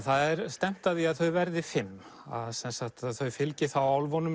það er stefnt að því að þau verði fimm þau fylgi álfunum